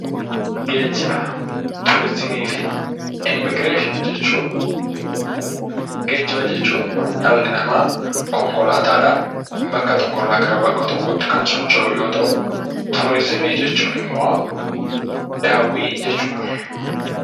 Geejjiba turizimii fi immiigireeshinii jechuun geejjiba jechuun dhalli namaa konkolaataadhaan bakka tokkoo gara bakka tokkootti kan ittiin socho'u yoo ta'u, turizimii jechuun immoo daawwii jechuudha.